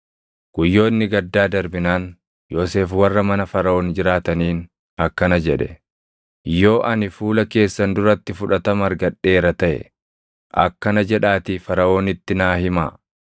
Guyyoonni gaddaa darbinaan Yoosef warra mana Faraʼoon jiraataniin akkana jedhe; “Yoo ani fuula keessan duratti fudhatama argadheera taʼe, akkana jedhaatii Faraʼoonitti naa himaa: